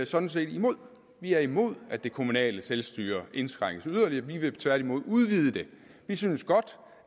sådan set imod vi er imod at det kommunale selvstyre indskrænkes yderligere vi vil tværtimod udvide det vi synes godt